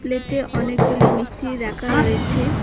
প্লেটে অনেকগুলি মিষ্টি রাখা রয়েছে।